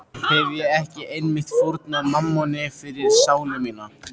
Hefi ég ekki einmitt fórnað mammoni fyrir sálu mína?